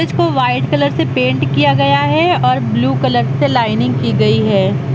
इसको white colour से paint किया गया है और ब्लू कलर से लाइनिंग की गई है।